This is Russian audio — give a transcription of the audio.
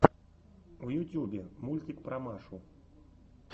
в ютьюбе мультик про машу